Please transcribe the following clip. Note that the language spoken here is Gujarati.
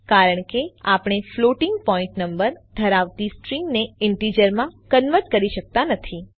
કારણ કે આપણે ફ્લોટિંગ પોઇન્ટ નંબર ધરાવતી સ્ટ્રીંગને ઈન્ટીજરમાં કન્વર્ટ કરી શકતા નથી